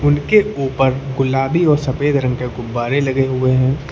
उनके ऊपर गुलाबी और सफेद रंग के गुब्बारे लगे हुए हैं।